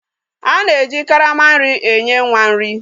A na-eji karama nri enye nwa nri.